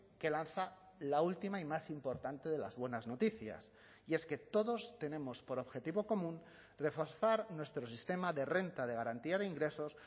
que lanza la última y más importante de las buenas noticias y es que todos tenemos por objetivo común reforzar nuestro sistema de renta de garantía de ingresos